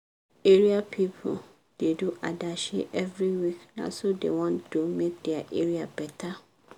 area pipu da do adashi every week na so dem wan do make dia area better